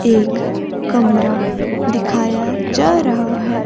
एक कमरा दिखाया जा रहा है।